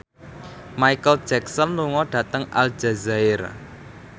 Micheal Jackson lunga dhateng Aljazair